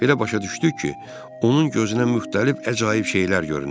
Belə başa düşdük ki, onun gözünə müxtəlif əcaib şeylər görünür.